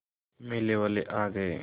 मेले वाले आ गए